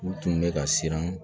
U tun bɛ ka siran